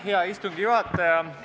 Hea istungi juhataja!